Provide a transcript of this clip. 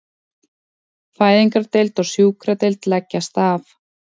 Fæðingardeild og sjúkradeild leggjast af